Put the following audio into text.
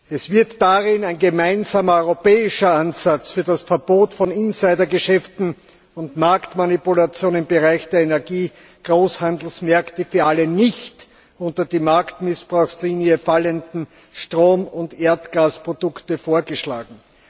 Es wird darin ein gemeinsamer europäischer Ansatz für das Verbot von Insidergeschäften und Marktmanipulation im Bereich der Energiegroßhandelsmärkte für alle nicht unter die Marktmissbrauchsrichtlinie fallenden Strom und Erdgasprodukte vorgeschlagen.